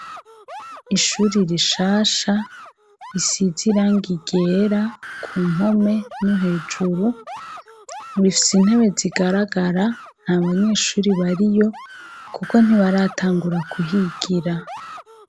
Ishuri rishasha risize irangi ryera; Ku mpome no hejuru bifise intebe zigaragara, nta banyeshuri bariyo kuko ntibaratangura kuhigira.